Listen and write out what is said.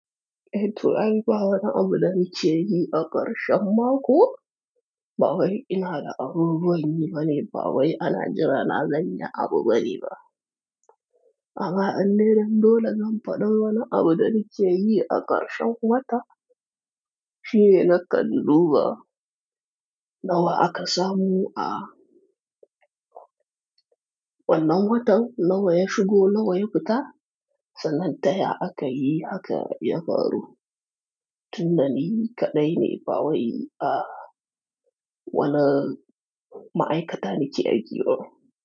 Eh to, ai ba wani abu da nike yi a ƙarshen mako. Ba wai ina da abubuwan yi bane, ba wai ana jira na zan yi abu ba ne ba. Amma in dai dan dole zan faɗai wani abu da nike yi a ƙarshen wata, shi ne nakan duba nawa aka samu ah wannan watan nawa ya shigo nawa ya fita sannan ta ya aka yi hakan ya faru. Tunda ni kaɗai ne ba wai ah wani ma'aikata nike ajiye wa.